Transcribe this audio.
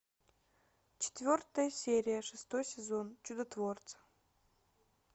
четвертая серия шестой сезон чудотворцы